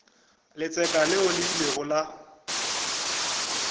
letseka leo le ilego la